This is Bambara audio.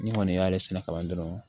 Ni kɔni y'ale sɛnɛ kalan dɔrɔn